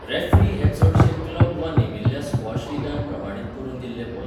Referee हें चडशें club वा नेमिल्ल्या स्क्वॉश लीगान प्रमाणीत करून दिल्लें पद.